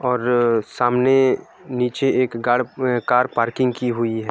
और अ सामने नीचे एक गाड़ अ कार पार्किंग की हुई है।